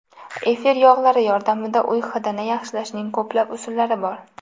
Efir yog‘lari yordamida uy hidini yaxshilashning ko‘plab usullari bor.